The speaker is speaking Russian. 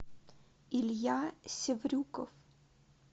илья севрюков